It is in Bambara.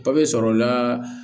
Papiye sɔrɔla